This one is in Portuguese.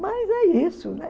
Mas é isso, né?